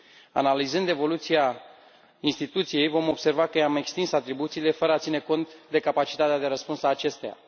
Analizând evoluția instituției vom observa că i am extins atribuțiile, fără a ține cont de capacitatea de răspuns a acesteia.